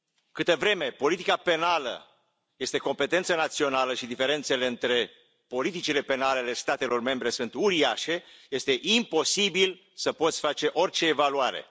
Câtă vreme politica penală este competență națională și diferențele între politicile penale ale statelor membre sunt uriașe este imposibil să poți face orice evaluare.